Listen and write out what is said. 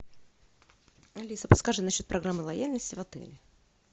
алиса подскажи на счет программы лояльности в отеле